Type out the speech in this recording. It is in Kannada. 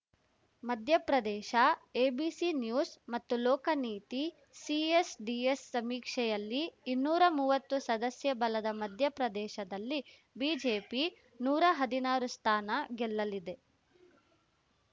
ಮಧ್ಯಪ್ರದೇಶ ಎಬಿಸಿ ನ್ಯೂಸ್‌ ಮತ್ತು ಲೋಕನೀತಿ ಸಿಎಸ್‌ಡಿಎಸ್‌ ಸಮೀಕ್ಷೆಯಲ್ಲಿ ಇನ್ನೂರಾ ಮೂವತ್ತು ಸದಸ್ಯಬಲದ ಮಧ್ಯಪ್ರದೇಶದಲ್ಲಿ ಬಿಜೆಪಿ ನೂರಾ ಹದಿನಾರು ಸ್ಥಾನ ಗೆಲ್ಲಲಿದೆ